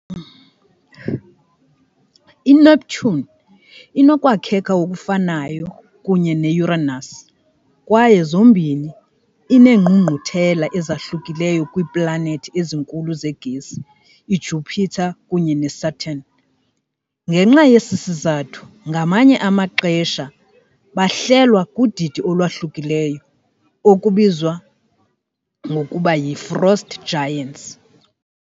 I-Neptune inokwakheka okufanayo kunye ne-Uranus kwaye zombini ineengqungquthela ezahlukileyo kwiiplanethi ezinkulu zegesi iJupiter kunye neSaturn . Ngenxa yesi sizathu ngamanye amaxesha bahlelwa kudidi olwahlukileyo, okubizwa ngokuba yi "frost giants ".